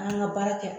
An ka baara kɛ